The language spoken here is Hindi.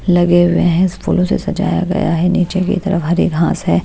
लगे हुए हैं फूलों से सजाया गया है नीचे की तरफ हरी घास है।